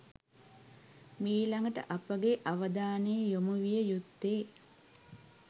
මීළඟට අපගේ අවධානය යොමු විය යුත්තේ